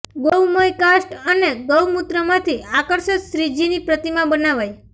ગૌમય કાસ્ટ અને ગૌ મૂત્રમાંથી આકર્ષક શ્રીજીની પ્રતિમા બનાવાઈ